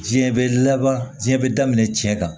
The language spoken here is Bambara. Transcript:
Diɲɛ bɛ laban diɲɛ bɛ daminɛ cɛ kan